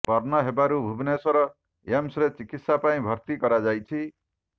ପର୍ଣ୍ନ ହେବାରୁ ଭୁବନେଶ୍ବର ଏମ୍ସ ରେ ଚିକିତ୍ସା ପାଇଁ ଭର୍ତି କରାଯାଇଛି